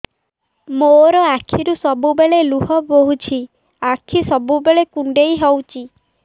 ମୋର ଆଖିରୁ ସବୁବେଳେ ଲୁହ ବୋହୁଛି ଆଖି ସବୁବେଳେ କୁଣ୍ଡେଇ ହଉଚି